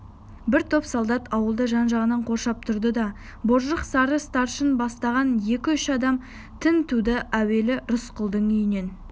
бір топ солдат ауылды жан-жағынан қоршап тұрды да боржық сары старшын бастаған екі-үш адам тінтуді әуелі рысқұлдың үйінен